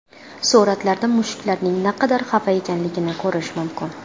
Suratlarda mushuklarning naqadar xafa ekanligini ko‘rish mumkin.